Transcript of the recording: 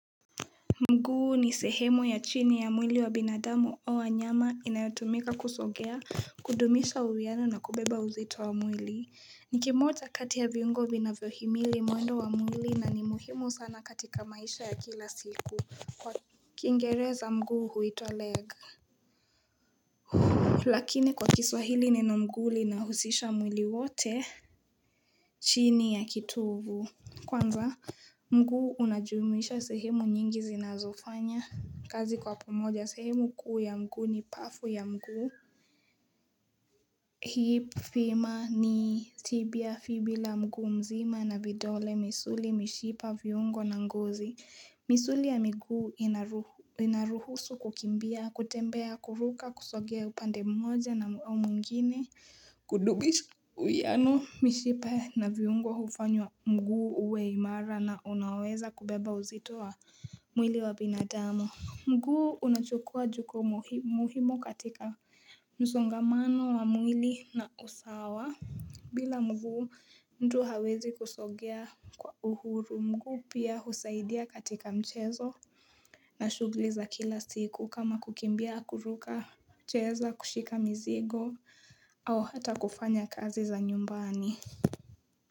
Mguu ni sehemu ya chini ya mwili wa binadamu au wanyama inayotumika kusogea, kudumisha uwiano na kubeba uzito wa mwili. Ni kimoja kati ya viungo vinavyohimili mwendo wa mwili na ni muhimu sana katika maisha ya kila siku kwa kiingereza mguu huwitwa leg. Lakini kwa kiswahili nina mguu linahusisha mwili wote chini ya kitovu. Kwanza mguu unajumuisha sehemu nyingi zinazofanya kazi kwa pomoja sehemu kuu ya mguu ni pafu ya mguu. Hii femur ni tibia fibula mguu mzima na vidole misuli, mishipa, viungo na ngozi. Misuli ya mguu inaruhusu kukimbia, kutembea, kuruka, kusogea upande mmoja na ua mwingine kudumisha. Uwiano mishipa na viungo hufanywa mguu uwe imara na unaweza kubeba uzito wa mwili wa binadamu. Mguu unachukua jukumumuhimu katika msongamano wa mwili na usawa bila mguu mtu hawezi kusogea kwa uhuru. Mguu pia husaidia katika mchezo na shughuli za kila siku kama kukimbia kuruka mchezo kushika mizigo au hata kufanya kazi za nyumbani.